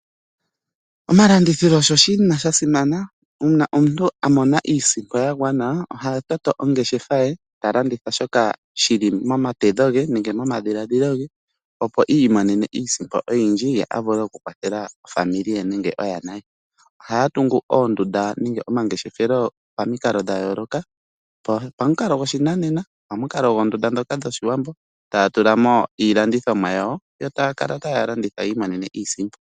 Omalandithilo osho oshinima shasimana, uuna omuntu amona iisimpo yagwana ohatoto ongeshefa ye etalanditha shoka shili momadhiladhilo ge, opo iimonene iisimpo oyindji ye avule okukwathela aakwanezimo nenge oyana ye. Ohayatungu oondunda nenge omangeshefelo pa mikalo dhayooloka, pamukalo gwoshinanena, pamukalo gwoo ndunda ndhoka dhoshiwambo etayatulamo iilandithomwa yawo, yo tayakala tayalanditha yi imonene iisimpo.